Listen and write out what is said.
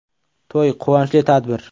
To‘y – quvonchli tadbir.